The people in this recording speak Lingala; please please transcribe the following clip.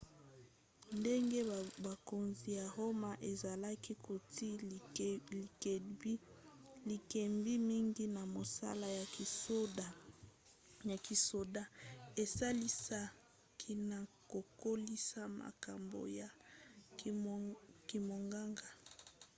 ndenge bokonzi ya roma ezalaki kotia likebi mingi na mosala ya kisoda esalisaki na kokolisa makambo ya kimonganga